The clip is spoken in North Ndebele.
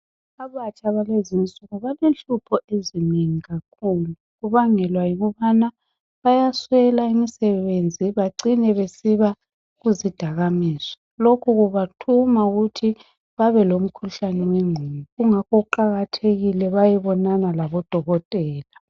Abatsha balezi insuku balenhlupho ezinengi kakhulu kubangelwa yikubana bayaswela imisebenzi bacine basiba kuzidakamizwa. Lokhu kubathuma ukuthi babelomkhuhlane wengqondo ingakho kuqakathekile bayebonana labodokotela.